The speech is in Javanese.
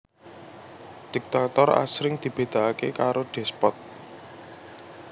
Diktator asring dibédaaké karo despot